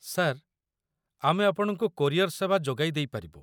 Sir, ଆମେ ଆପଣଙ୍କୁ courier ସେବା ଯୋଗାଇ ଦେଇପାରିବୁ।